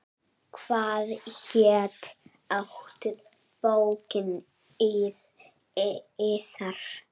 Hvað hét aftur bókin yðar?